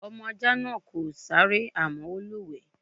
Ọmọ ajá náà kò sáré àmọ́ ó lúwẹ̀ẹ́.